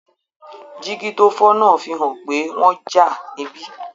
Jígí tó fọ́ náà fi hàn pé wọ́n jà níbí